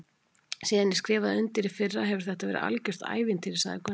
Síðan ég skrifaði undir í fyrra hefur þetta verið algjört ævintýri sagði Gunnar.